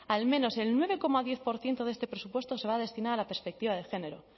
al menos el nueve coma diez por ciento de este presupuesto se va a destinar a la perspectiva de género